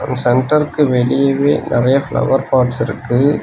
சென்டருக்கு வெளியவே நெறைய ஃப்ளவர் பாட்ஸ்ருக்கு .